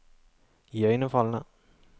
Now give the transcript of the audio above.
iøynefallende